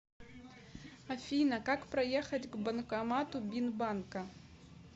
афина как проехать к банкомату бинбанка